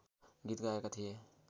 गीत गाएका थिए